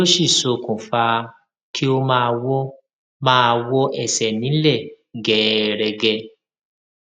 tí ó sì ṣokùnfa kí ó máa wọ máa wọ ẹsẹ nílẹ gẹẹrẹgẹ